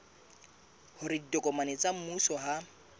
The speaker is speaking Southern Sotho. hore ditokomane tsa mmuso ha